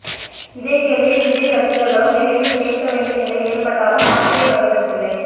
இதே கேள்வியை விஜய் ரசிகர்களும் விரைவில் கேட்க வேண்டிய நிலை ஏற்பட்டாலும் ஆச்சரியப்படுவதற்கில்லை